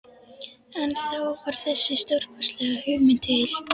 En þá varð þessi stórkostlega hugmynd til.